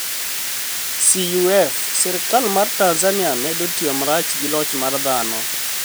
CUF: Sirkal mar Tanizaniia medo tiyo marach gi loch mar dhano